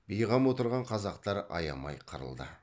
бейғам отырған қазақтар аямай қырылды